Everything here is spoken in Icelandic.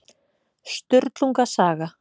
Sturlunga saga.